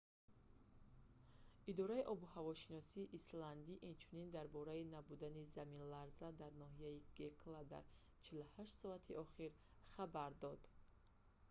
идораи обуҳавошиносии исландӣ инчунин дар бораи набудани заминларзаҳо дар ноҳияи гекла дар 48 соати охир хабар дод